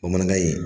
Bamanankan in